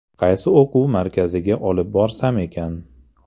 Qaysi o‘quv markaziga olib borsam ekan?